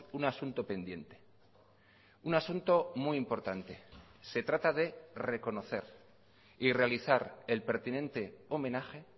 un asunto pendiente un asunto muy importante se trata de reconocer y realizar el pertinente homenaje